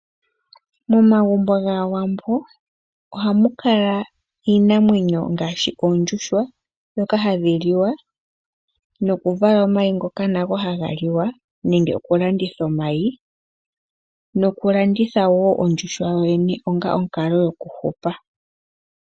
Momagumbo gaawambo oha mu kala iinamwenyo ngaashi ondjuuhwa ndhoka hadhi liwa noku vala omayi ngoka nago haga liwa nenge oku landitha omayi nokulanditha wo ondjuhwa yoyene onga omukalo goku hupa.